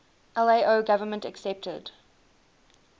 lao government accepted